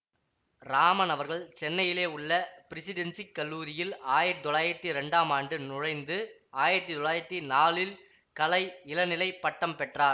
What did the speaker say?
இராமன் அவர்கள் சென்னையிலே உள்ள பிரெசிடென்சிக் கல்லூரியில் ஆயிரத்தி தொள்ளாயிரத்தி இரண்டாம் ஆண்டு நுழைந்து ஆயிரத்தி தொள்ளாயிரத்தி நாலில் கலை இளநிலை பட்டம் பெற்றார்